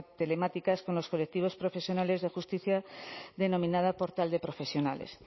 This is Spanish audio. telemáticas con los colectivos profesionales de justicia denominada portal de profesionales